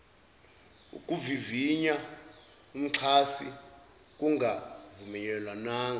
ukuvivinya umxhasi kungakavunyelwana